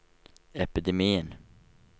epidemien